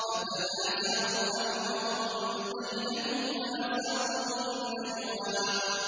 فَتَنَازَعُوا أَمْرَهُم بَيْنَهُمْ وَأَسَرُّوا النَّجْوَىٰ